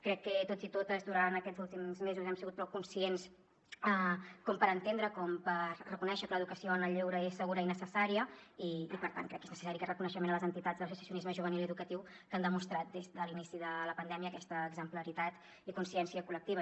crec que tots i totes durant aquests últims mesos hem sigut prou conscients com per entendre com per reconèixer que l’educació en el lleure és segura i necessària i per tant crec que és necessari aquest reconeixement a les entitats d’associacionisme juvenil i educatiu que han demostrat des de l’inici de la pandèmia aquesta exemplaritat i consciència col·lectiva